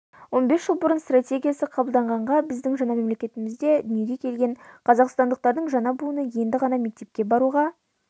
он бес жыл бұрын стратегиясы қабылданғанда біздің жаңа мемлекетімізде дүниеге келген қазақстандықтардың жаңа буыны енді ғана мектепке баруға